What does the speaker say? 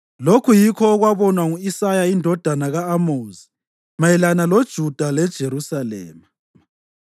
Lokhu yikho okwabonwa ngu-Isaya indodana ka-Amozi mayelana loJuda leJerusalema: